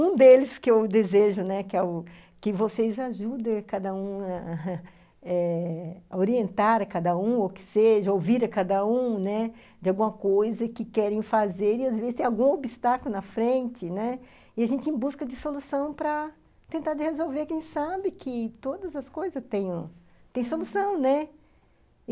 Um deles que eu desejo, né, que é o vocês ajudem a cada um eh, a orientar a cada um, ou que seja, ouvir a cada um, né, de alguma coisa que querem fazer e, às vezes, tem algum obstáculo na frente, né, e a gente em busca de solução para tentar resolver quem sabe que todas as coisas têm têm solução, né.